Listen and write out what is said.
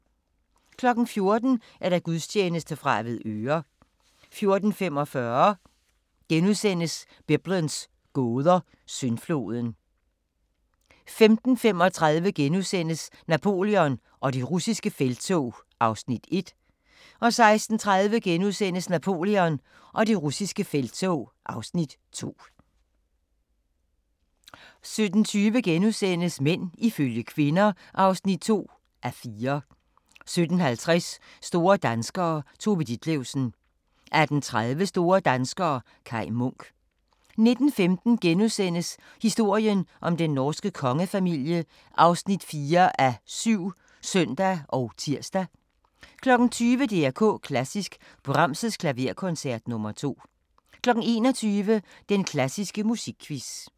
14:00: Gudstjeneste fra Avedøre 14:45: Biblens gåder – Syndfloden * 15:35: Napoleon og det russiske felttog (Afs. 1)* 16:30: Napoleon og det russiske felttog (Afs. 2)* 17:20: Mænd ifølge kvinder (2:4)* 17:50: Store danskere - Tove Ditlevsen 18:30: Store danskere - Kai Munk 19:15: Historien om den norske kongefamilie (4:7)*(søn og tir) 20:00: DR K Klassisk: Brahms' Klaverkoncert nr. 2 21:00: Den klassiske musikquiz